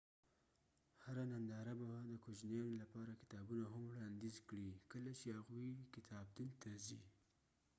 هره ننداره به د کوجنیانو لپاره کتابونه هم وړانديز کړي کله چې هغوي کتابتون ته ځي